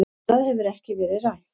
Annað hefur ekkert verið rætt